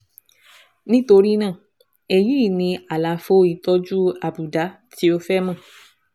Nítorí náà, èyí ni àlàfo ìtọ́jú àbùdá tí o fẹ́ mọ̀